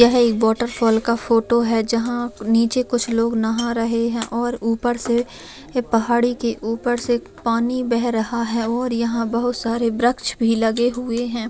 यह एक waterfall का फोटो है जहाँ निचे कुछ लोग नहा रहे है और ऊपर से पहाड़ी के ऊपर से पानी बह रहा है और यहां बहुत सारे वृक्ष भी लगे हुए है।